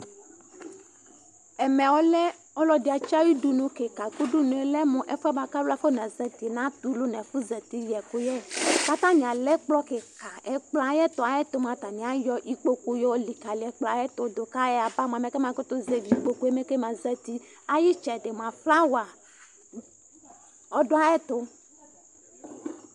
ɔlɔdɩ ayudunu be dɩ lanutɛ, nʊ udunu yɛ mua, ekele ɛfu tɛ ulu nʊ ɛfu zati yɛkʊ, atanɩ alɛ ɛkpɔ kla dɩ nʊ ɛfu yɛkʊ yɛ kʊ atanɩ ayɔ ikpoku lɛ likali ɛkplɔ yɛ dʊ, nʊ itsɛdi mua mɛ itsu sɔlɔ nɩlɛ